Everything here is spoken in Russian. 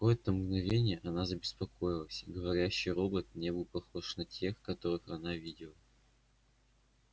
на какое-то мгновение она забеспокоилась говорящий робот не был похож на тех которых она видела